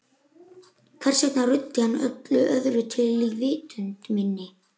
Hvers vegna ruddi hann öllu öðru til í vitund minni?